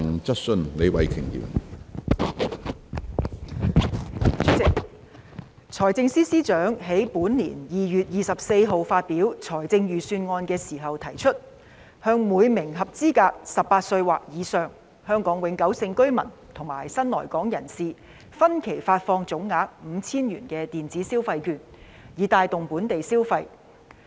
主席，財政司司長於本年2月24日發表《財政預算案》時提出，向每名合資格的18歲或以上香港永久性居民及新來港人士，分期發放總額 5,000 元的電子消費券，以帶動本地消費。